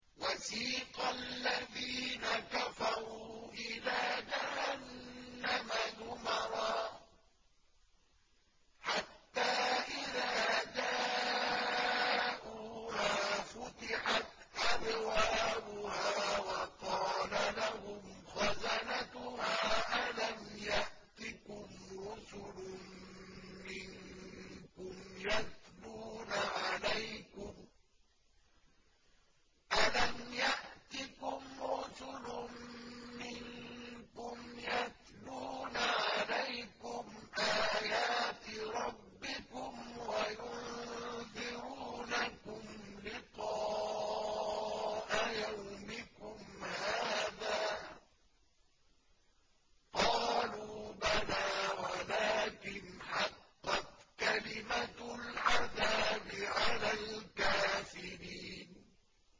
وَسِيقَ الَّذِينَ كَفَرُوا إِلَىٰ جَهَنَّمَ زُمَرًا ۖ حَتَّىٰ إِذَا جَاءُوهَا فُتِحَتْ أَبْوَابُهَا وَقَالَ لَهُمْ خَزَنَتُهَا أَلَمْ يَأْتِكُمْ رُسُلٌ مِّنكُمْ يَتْلُونَ عَلَيْكُمْ آيَاتِ رَبِّكُمْ وَيُنذِرُونَكُمْ لِقَاءَ يَوْمِكُمْ هَٰذَا ۚ قَالُوا بَلَىٰ وَلَٰكِنْ حَقَّتْ كَلِمَةُ الْعَذَابِ عَلَى الْكَافِرِينَ